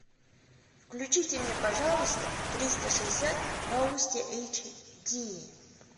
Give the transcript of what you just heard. включите мне пожалуйста триста шестьдесят новости эйч ди